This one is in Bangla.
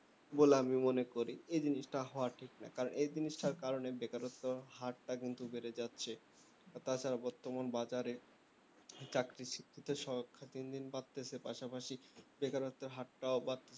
বলে আমি মনে করি এই জিনিসটা হওয়া ঠিক নয় কারণ এই জিনিসটার কারণে বেকারত্ব হারটা কিন্তু বেড়ে যাচ্ছে আর তাছাড়া বর্তমান বাজারে চাকরির শিক্ষিত সংখ্যা দিন দিন বাড়ছে পাশাপাশি বেকারত্বের হারটাও বা